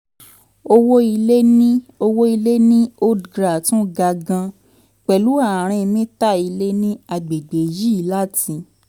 owó ilẹ̀ ní owó ilẹ̀ ní old gra tún ga gan-an pẹ̀lú ààrin mítà ilẹ̀ ní àgbègbè yìí láti